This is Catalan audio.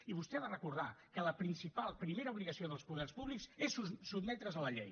i vostè ha de recordar que la principal primera obligació dels poders públics és sotmetre’s a la llei